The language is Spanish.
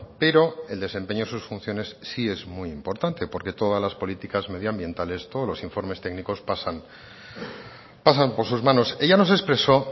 pero el desempeño de sus funciones sí es muy importante porque todas las políticas medioambientales todos los informes técnicos pasan pasan por sus manos ella nos expresó